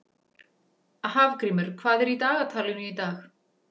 Hafgrímur, hvað er í dagatalinu í dag?